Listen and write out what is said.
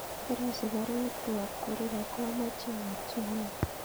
Karosich baruet koyop Korir ako amache awalchi inguni